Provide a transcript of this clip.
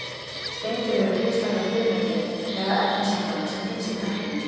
Steindir eru kristallað frumefni eða efnasamband sem finnst í náttúrunni.